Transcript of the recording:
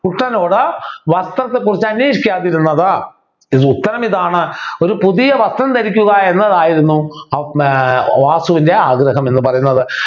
കുട്ടനോട് വസ്ത്രത്തെക്കുറിച്ച് അന്വേഷിക്കാതിരുന്നത് ഇത് ഉത്തരം ഇതാണ് ഒരു പുതിയ വസ്ത്രം ധരിക്കുക എന്നതായിരുന്നു ഏർ വാസുവിൻ്റെ ആഗ്രഹം എന്ന് പറയുന്നത്